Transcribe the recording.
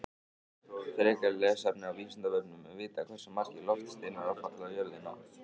Frekara lesefni á Vísindavefnum: Er vitað hversu margir loftsteinar hafa fallið á jörðina?